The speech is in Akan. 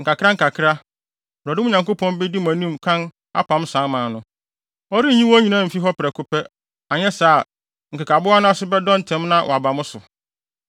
Nkakrankakra, Awurade, mo Nyankopɔn, bedi mo anim kan apam saa aman no. Ɔrenyi wɔn nyinaa mfi hɔ prɛko pɛ; anyɛ saa a, nkekaboa no ase bɛdɔ ntɛm na wɔaba mo so.